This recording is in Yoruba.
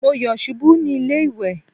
Má yọ̀ ṣubú ní ilé ìwẹ̀.